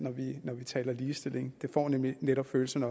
når vi taler om ligestilling det får nemlig netop følelserne